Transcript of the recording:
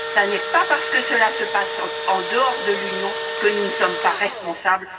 Mais ce n'est pas parce que cela se passe en dehors de l'Union que nous ne sommes pas responsables.